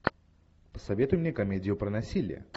посоветуй мне комедию про насилие